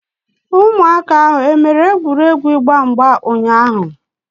Ụmụaka ahu e mere egwuregwu ịgba mgba ụnyaahụ?